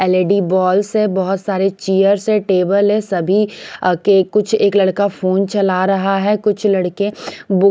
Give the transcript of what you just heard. LED balls है बहुत सारे चेयर्स है टेबल है सभी के कुछ एक लड़का फोन चला रहा है कुछ लड़के वो।